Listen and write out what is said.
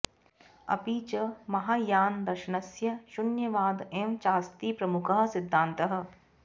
अपि च महायानदर्शनस्य शून्यवाद एव चास्ति प्रमुखः सिद्धान्तः